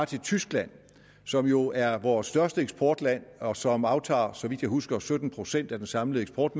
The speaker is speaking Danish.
til tyskland som jo er vores største eksportland og som aftager så vidt jeg husker sytten procent af den samlede eksport